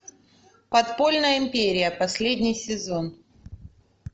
подпольная империя последний сезон